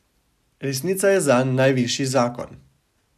Resnica je zanj najvišji zakon.